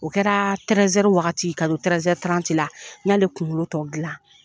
O kɛra tɛrɛzɛri wagati ka don tɛrɛzɛri n y'ale kunkolo tɔ gilan.